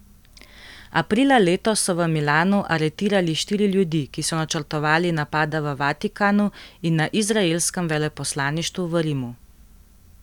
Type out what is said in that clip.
Aprila letos so v Milanu aretirali štiri ljudi, ki so načrtovali napada v Vatikanu in na izraelskem veleposlaništvu v Rimu.